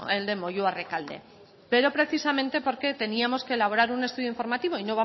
el de moyua rekalde pero precisamente porque teníamos que elaborar un estudio informativo y